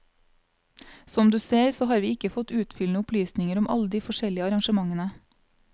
Som du ser så har vi ikke fått utfyllende opplysninger om alle de forskjellige arrangementene.